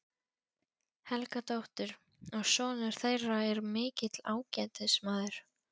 Helgadóttur, og sonur þeirra er mikill ágætismaður.